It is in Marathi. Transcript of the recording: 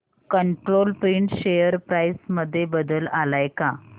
कंट्रोल प्रिंट शेअर प्राइस मध्ये बदल आलाय का